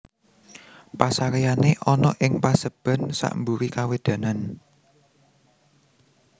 Pasareyane ana ing paseban sakmburi kawedanan